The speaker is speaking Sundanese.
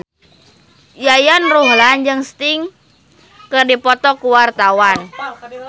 Yayan Ruhlan jeung Sting keur dipoto ku wartawan